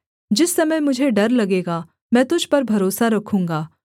जिस समय मुझे डर लगेगा मैं तुझ पर भरोसा रखूँगा